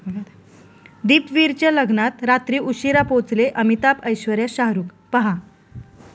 दीपवीरच्या लग्नात रात्री उशिरा पोचले अमिताभ, ऐश्वर्या, शाहरुख! पहा